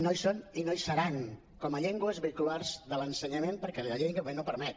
no hi són i no hi seran com a llengües vehiculars de l’ensenyament perquè la llei en aquest moment no ho permet